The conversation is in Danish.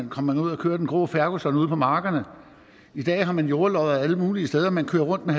kom man ud at køre den grå ferguson ude på markerne i dag har man jordlodder alle mulige steder og man kører rundt